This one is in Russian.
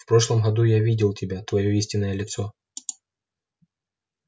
в прошлом году я видел тебя твоё истинное лицо